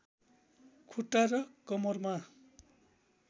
खुट्टा र कमरमा